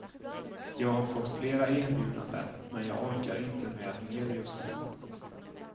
Jag har fått fler erbjudanden, men jag orkar inte med mer just nu.